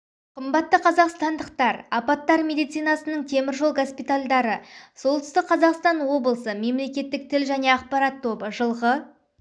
қымбатты қазақстандықтар апаттар медицинасының темір жол госпитальдары солтүстік қазақстан облысы мемлекеттік тіл және ақпарат тобы жылғы